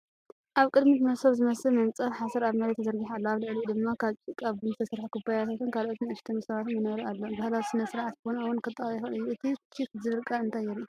ኣብ ቅድሚት መሶብ ዝመስል መንጸፍ ሓሰር ኣብ መሬት ተዘርጊሑ ኣሎ፣ ኣብ ልዕሊኡ ድማ ካብ ጭቃ ቡን ዝተሰርሐ ኩባያታትን ካልኦት ንኣሽቱ መሶባትን መንበርን ኣሎ። ባህላዊ ስነ-ስርዓት ቡን እውን ከጠቓልል ይኽእል እዩ። እቲ "ቺክ" ዝብል ቃል እንታይ የርኢ?